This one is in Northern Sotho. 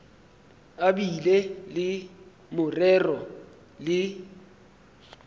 a bile le morero le